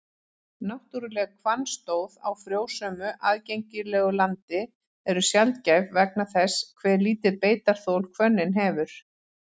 Náttúruleg hvannstóð á frjósömu, aðgengilegu landi eru sjaldgæf vegna þess hve lítið beitarþol hvönnin hefur.